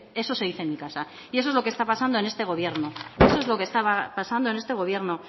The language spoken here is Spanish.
eso se dice en mi casa y eso es lo que está pasando en este gobierno eso es lo que estaba pasando en este gobierno